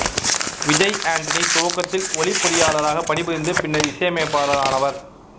விஜய் ஆண்டனி துவக்கத்தில் ஒலிப் பொறியாளராகப் பணி புரிந்து பின்னர் இசையமைப்பாளரானவர்